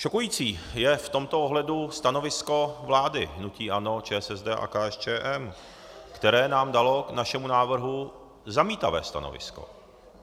Šokující je v tomto ohledu stanovisko vlády, hnutí ANO, ČSSD a KSČM, které nám dalo k našemu návrhu zamítavé stanovisko.